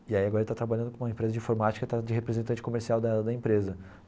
E aí agora ele está trabalhando com uma empresa de informática está de representante comercial da da empresa.